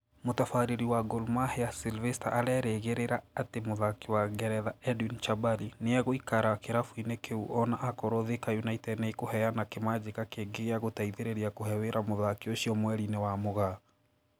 Mũtabarĩri wa Gor Mahia Silvester arerĩgĩrĩra atĩ mũthaki wa Ngeretha Edwin Chabari nĩ egũikara kĩrabu-inĩ kĩu o na anakorwo Thika United nĩ ĩkũheana kĩmanjĩka kĩngĩ gĩa gũteithĩrĩria kũhe wĩra mũthaki ũcio mweri-inĩ wa Mũgaa